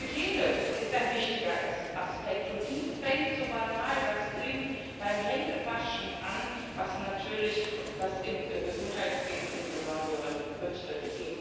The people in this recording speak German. Hygiene ist ein wichtiger Aspekt, und die fängt so banal das klingt beim Händewaschen an was natürlich das im Gesundheitswesen im Besonderen betrifft.